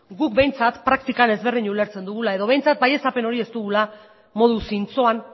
guk behintzat praktikan ezberdin ulertzen dugula edo behintzat baieztapen hori ez dugula modu zintzoan